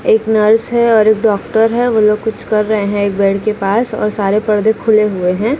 एक नर्स है और एक डॉक्टर है वो लोग कुछ कर रहे हैं एक बेड के पास और सारे पर्दे खुले हुए हैं।